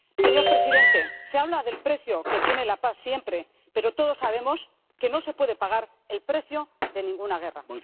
Señor presidente, se habla del precio que tiene la paz siempre, pero todos sabemos que no se puede pagar el precio de ninguna guerra.